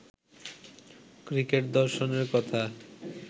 cricket দর্শনের কথা